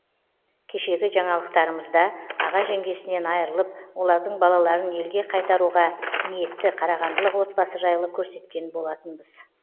кешегі жаңалықтарымызда аға жеңгесінен айырылып олардың балаларын елге қайтаруға ниетті қарағандылық отбасы жайлы көрсеткен болатынбыз